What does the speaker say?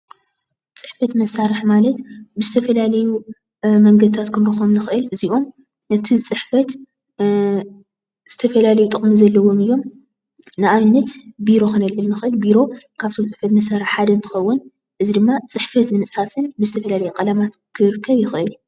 ፅሕፈት መሳሪሒ ማለት ዝተፈላለዩ ብፅሕፈት ዝተፈላለየ ጠቅሚ ዘለዎም እዮም። ነኣብነት፣ ቢሮ ካብቶም ፅሕፈት መሳሪሒታት ሓደ ስለዝኮነ ካብ እንጥቀመሎም ዝተፈላለዩ ሕብሪታት ከረክብ ይክእል።